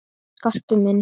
Jæja, Skarpi minn.